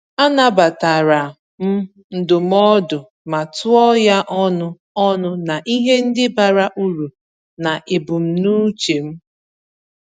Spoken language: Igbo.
A nabatara m ndụmọdụ, ma tụọ ya ọnụ ọnụ na ihe ndi bara uru na ebumnuche m.